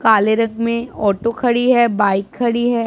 काले रंग में ऑटो खड़ी है बाइक खड़ी है।